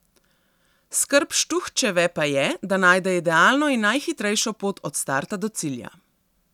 Skrb Štuhčeve pa je, da najde idealno in najhitrejšo pot od starta do cilja.